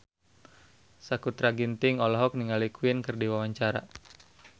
Sakutra Ginting olohok ningali Queen keur diwawancara